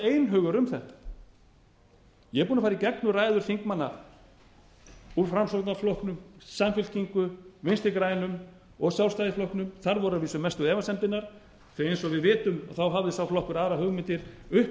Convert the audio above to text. einhugur um þetta ég er búinn að fara í gegnum ræður þingmanna úr framsóknarflokknum samfylkingu vinstri grænum og sjálfstæðisflokknum þar voru að vísu mestu efasemdirnar því eins og við vitum hafði sá flokkur aðrar hugmyndir uppi um